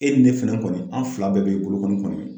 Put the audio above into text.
E ni ne fɛnɛ kɔni an fila bɛɛ be bolo kɔni kɔmi .